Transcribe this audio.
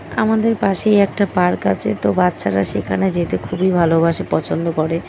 আমাদের পাশেই একটা পার্ক আছে তো বাচ্চারা সেখানে যেতে খুবই ভালোবাসে পছন্দ করে।